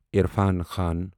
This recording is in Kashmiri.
عرفان خان